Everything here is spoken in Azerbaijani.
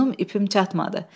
Yunum ipim çatmadı.